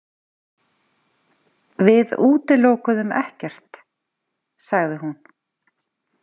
Við útilokuðum ekkert, sagði hún.